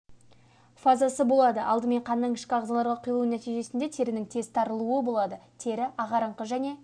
фазазы болады алдымен қанның ішкі ағзаларға құйылу нәтижесінен терінің тез тарылуы болады тері ағарыңқы және